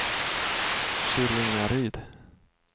Skillingaryd